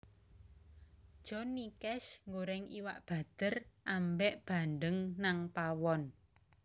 Johnny Cash nggoreng iwak bader ambek bandeng nang pawon